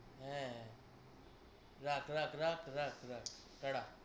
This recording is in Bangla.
হ্যাঁ। রাখ রাখ রাখ রাখ রাখ ta ta ।